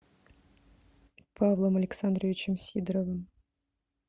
павлом александровичем сидоровым